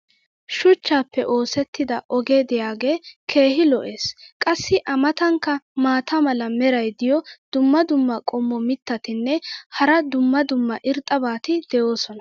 shuchchaappe oosetida ogee diyaagee keehi lo'ees. qassi a matankka maata mala meray diyo dumma dumma qommo mitattinne hara dumma dumma irxxabati de'oosona.